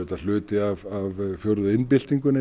hluti af fjórðu iðnbyltingunni